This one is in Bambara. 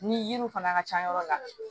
Ni yiriw fana ka ca yɔrɔ la